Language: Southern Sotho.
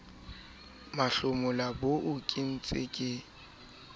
mahlomola boo ke ntseng ke